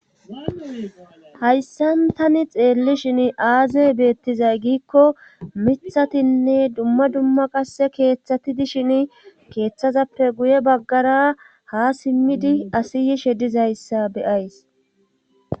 hayssan tani xeellishin aaze beettizay giikko mithatinne dumma dumma qasse keeththati dishin keeththazappe guye baggara ha simmidi asiyishe dizayssa beyays